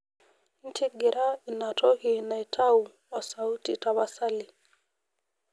ntigira inatoki naitau osauti tapasali